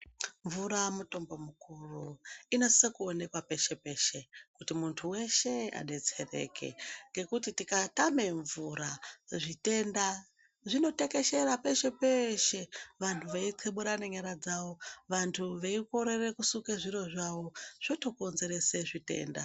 Mvura mutombo mukuru, inosisa kuonekwa peshe peshe kuti muntu weshe adetsereke, ngekuti tikatame mvura, zvitenda zvinotekeshera peshe-peshe, vantu veitxeburana nyara dzavo, vantu veikorere kusuke zviro zvavo, zvotokonzerese zvitenda.